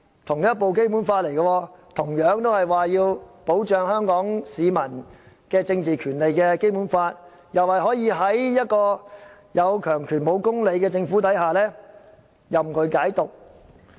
同一部《基本法》，當中同樣訂明香港市民的政治權利受到保障，但有關條文卻可以任由"有強權無公理"的政府任意解讀。